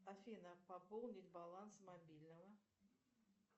афина пополнить баланс мобильного